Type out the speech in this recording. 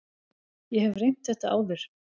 Ég hef reynt þetta áður.